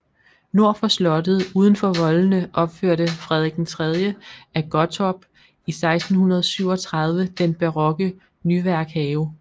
Nord for slottet uden for voldene opførte Frederik 3 af Gottorp i 1637 den barokke Nyværkhave